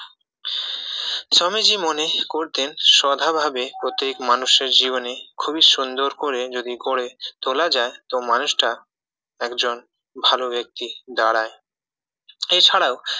স্বামীজি মনে করতেন শ্রদ্ধা ভাবে প্রত্যেক মানুষের জীবনী খুবই সুন্দর করে যদি গড়ে তোলা যায় তো মানুষটা একজন ভালো ব্যক্তি দাঁড়ায় এছাড়াও